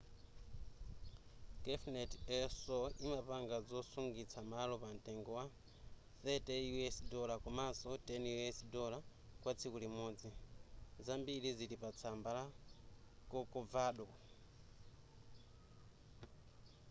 cafenet el sol imapanga zosungitsa malo pamtengo wa $30 komanso $10 kwa tsiku limodzi zambiri zili pa tsamba la corcovado